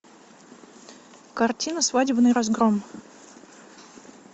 картина свадебный разгром